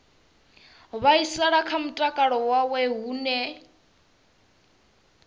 vhaisala kha mutakalo wawe hune